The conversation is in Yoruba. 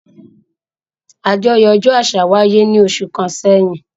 Àjọyọ̀ ọjọ́ àṣà wáyé ní oṣù kan sẹ́yìn